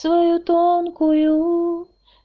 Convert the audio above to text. свою тонкую